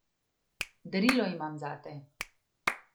Darilo imam zate.